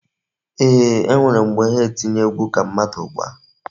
Eeh, e nwere mgbe ha etinye egwu ka mmadu gbaa.